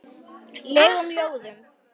legum ljóðum.